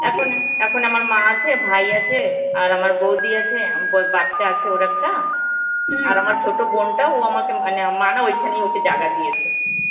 এখন এখন আমার মা আছে ভাই আছে আর আমার বৌদি আছে, আম বৌএর বাছা আছে ওর একটা. আর আমার ছোটো বোনটা ও আমাকে মানে মা না ওখানেই ওকে জায়গা দিয়েছে.